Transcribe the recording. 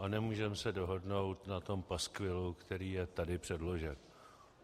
A nemůžeme se dohodnout na tom paskvilu, který je tady předložen.